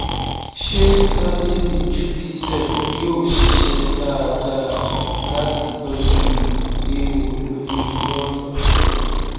ṣé tábìlì jupicef yóò ṣiṣẹ dáadáa láti tọjú ewo lórí vulva